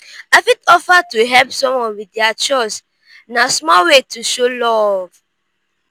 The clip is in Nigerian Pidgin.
i fit offer to help someone with dia chores; na small way to show love.